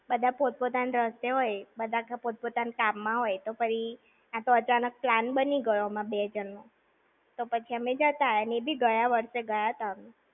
બધા પોત-પોતાના રસ્તે હોય, બધા પોત-પોતાના કામ માં હોય, તો પછી આ તો અચાનક plan બની ગયો અમર બે જણ નો, તો પછી અમે જતા આવ્યા. અને એ બી ગયા વર્ષે ગાયતા અમે.